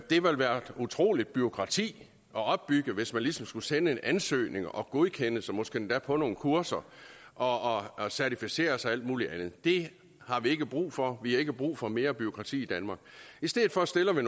utroligt bureaukrati der opbygges hvis man ligesom skulle sende en ansøgning og godkendes og måske endda på nogle kurser og og certificeres og alt muligt andet det har vi ikke brug for vi har ikke brug for mere bureaukrati i danmark i stedet for stiller